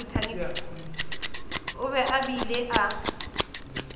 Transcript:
o be a bile a